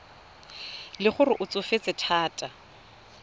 le gore o tsofetse thata